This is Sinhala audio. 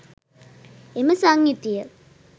එම සංයුතිය